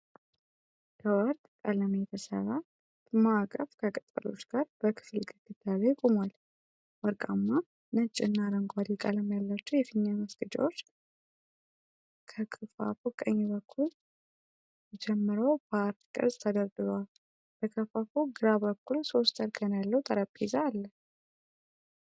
ከወርቅ ቀለም የተሠራ ክብ ማዕቀፍ ከቅጠሎች ጋር በክፍል ግድግዳ ላይ ቆሟል። ወርቃማ፣ ነጭና አረንጓዴ ቀለም ያላቸው የፊኛ ማስጌጫዎች ከክፈፉ ቀኝ በኩል ጀምረው በአርክ ቅርጽ ተደርድረዋል። በክፈፉ ግራ በኩል ሶስት እርከን ያለው ጠረጴዛ አለ።